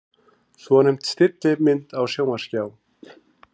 Svonefnd stillimynd á sjónvarpsskjá.